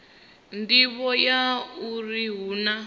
nḓivho ya uri hu na